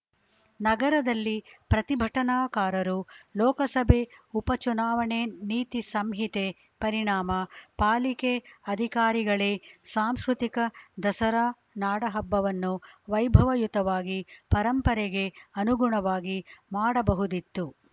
ನಗರದಲ್ಲಿ ಪ್ರತಿಭಟನಾಕಾರರು ಲೋಕಸಭೆ ಉಪ ಚುನಾವಣೆ ನೀತಿ ಸಂಹಿತೆ ಪರಿಣಾಮ ಪಾಲಿಕೆ ಅಧಿಕಾರಿಗಳೇ ಸಾಂಸ್ಕೃತಿಕ ದಸರಾ ನಾಡಹಬ್ಬವನ್ನು ವೈಭವಯುತವಾಗಿ ಪರಂಪರೆಗೆ ಅನುಗುಣವಾಗಿ ಮಾಡಬಹುದಿತ್ತು